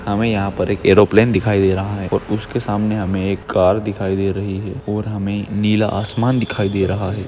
हमे यहा पर एक एरोप्लेन दिखाई दे रहा है और उसके सामने हमे एक कार दिखाई दे रही है और हमे नीला आसमान दिखाई दे रहा है।